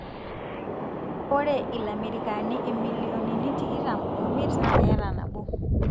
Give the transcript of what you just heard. ore ilamerikani emilionini tikitam omiet na keeta nabo.